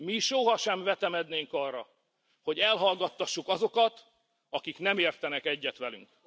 Mi soha sem vetemednénk arra, hogy elhallgattassuk azokat, akik nem értenek egyet velünk.